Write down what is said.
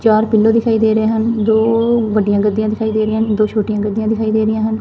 ਚਾਰ ਪਿੱਲੋ ਦਿਖਾਈ ਦੇ ਰਹੇ ਹਨ ਦੋ ਵੱਡੀਆਂ ਗੱਦੀਆਂ ਦਿਖਾਈ ਦੇ ਰਹੀਆਂ ਹਨ ਦੋ ਛੋਟੀਆਂ ਗੱਦੀਆਂ ਦਿਖਾਈ ਦੇ ਰਹੀਆਂ ਹਨ।